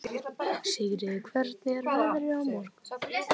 Sigríður, hvernig er veðrið á morgun?